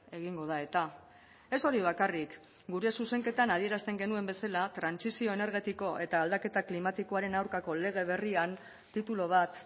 egingo da eta ez hori bakarrik gure zuzenketan adierazten genuen bezala trantsizio energetiko eta aldaketa klimatikoaren aurkako lege berrian titulu bat